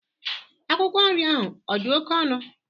Akwụkwọ nri ahụ odi oke onụ?